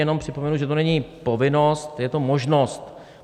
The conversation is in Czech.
Jenom připomenu, že to není povinnost, je to možnost.